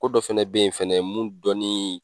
Ko dɔ fɛnɛ bɛ yen fɛnɛ mun dɔɔnin.